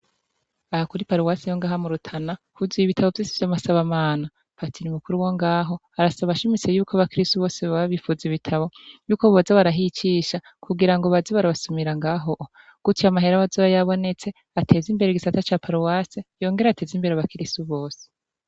Aha kuri paruwasi yongahamurutana huziye ibitabo vyise vyo masabamana patira imukuru wo ngaho arasabashimise yuko abakristo bose bababifuza ibitabo yuko boza barahicisha kugira ngo bazi barabasumira ngaho gutia amahera abazaba yabonetse ateza imbere gisata ca paruwasi yongera ateze imbere abakriso bose.